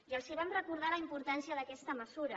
i els vam recordar la importància d’aquesta mesura